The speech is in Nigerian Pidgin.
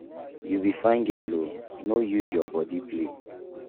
you be fine girl oooo no dey use your body play.